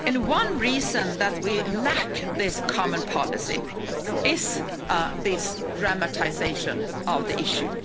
One reason that we lack this common policy is this dramatisation of the issue.